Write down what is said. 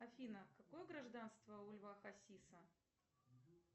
афина какое гражданство у льва хасиса